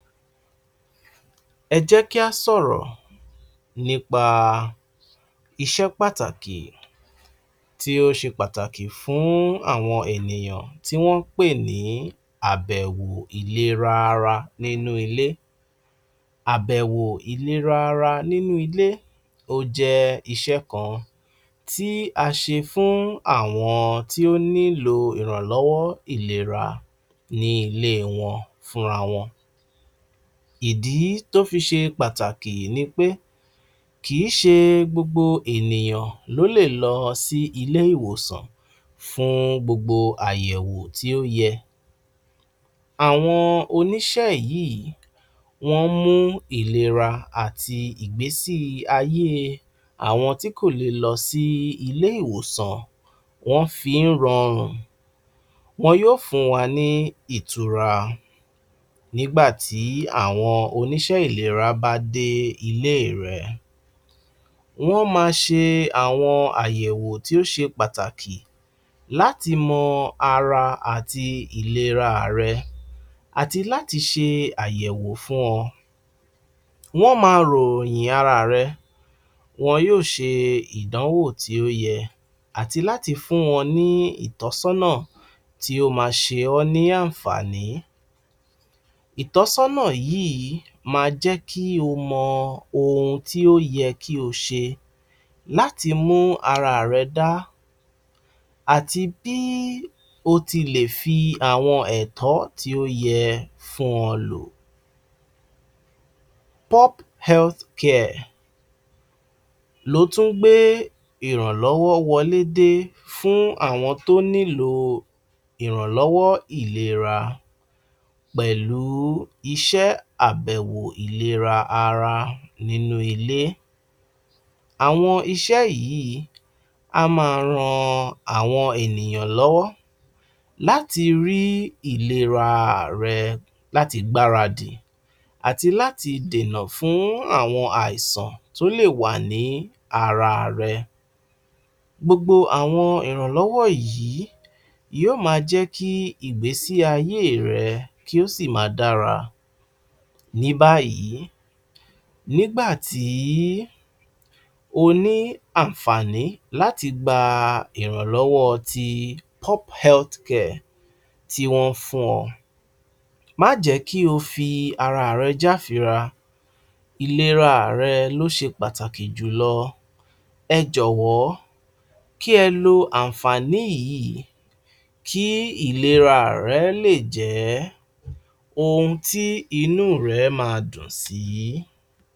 Ẹ jẹ́ kí a sọ̀rọ̀ nípa iṣẹ́ pàtàkì tí ó ṣe pàtàkì fún àwọn ènìyàn tí wọ́n ń pè ní àbẹ̀wò ìlera ara inú ilé. Àbèwò ìlera ara nínú ilé ó jẹ́ iṣẹ́ kan tí a ṣe fún àwọn tí ó nílò ìrànlọ́wọ́ ìlera nílé wọn fúnra wọn. Ìdí tó fi ṣe pàtàkì ni pé kì í ṣe gbogbo ènìyàn ló lè lọ sí ilé ìwòsàn fún gbogbo àyẹ̀wò tí ó yẹ. Àwon oníṣẹ́ yìí wọ́n mú ìlera àti ìgbésíayé àwọn tí kò lè lọ sí ilé ìwòsàn, wọ́n fi ń ran, wọn yóò fún wa ní ìtura, nígbà tí àwọn oníṣẹ́ ìlera bá dé ilé rẹ. Wọ́n máa ṣe àwọn àyẹ̀wò tí o ́ṣe pàtàkì láti mọ ara àti ìlera rẹ, àti láti ṣe àyẹ̀wò fún ọ, wọ́n máa ròyìn ara rẹ, wọn yóò ṣe ìdánwò tí ó yẹ àti láti fún wọn ní ìtọ́sọ́nà tí ó máa ṣe ọ́ ní àǹfàní, ìtọ́sọ́nà yìí máa jẹ́ kí o mọ ohun tí ó yẹ kí o ṣe láti mú ara rẹ dá, àti bí o tilẹ̀ fi àwọn ẹ̀tọ́ tí ó yẹ fún ọ lò. Pub Health Care ló tún gbé ìrànlọ́wọ́ wọlé dé fún àwọn tó nílò ìrànlọ́wọ́ ìlera pẹ̀lú iṣẹ́ àbèwò ìlera ara nínú ilé, àwọn iṣẹ́ yìí á máa ran àwọn ènìyàn lọ́wọ́ láti rí ìlera rẹ láti gbáradì àti láti dẹ̀nà fún àwọn àìsàn tó lè wà ní ara rẹ. Gbogbo àwọn ìrànlọ́wọ́ yìí yóò máa jẹ́ kí ìgbésí ayé rẹ kí ó sì máa dára. Ní báyìí, nígbà tí o ní àǹfàní láti gba ìrànlọ́wọ́ ti Pub Health Care, tí wọ́n ń fún ọ, má jẹ́ kí o fi ara rẹ jáfira, ìlera rẹ ló ṣe pàtàkì jùlọ, ẹ jọ̀wọ́, kí ẹ lo àǹfàní yìí, kí ìlera rẹ lè jẹ́ ohun tí inú rẹ máa dùn sí.